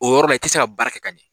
O yɔrɔ la i tɛ se ka baara kɛ ka ɲɛ.